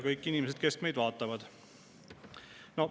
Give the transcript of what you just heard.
Kõik inimesed, kes meid vaatavad!